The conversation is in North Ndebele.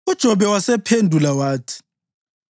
UJobe wasephendula wathi: